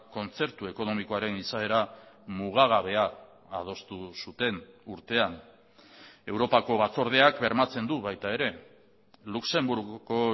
kontzertu ekonomikoaren izaera mugagabea adostu zuten urtean europako batzordeak bermatzen du baita ere luxemburgoko